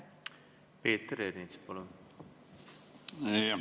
Peeter Ernits, palun!